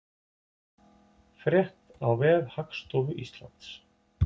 Frétt á vef Hagstofu Íslands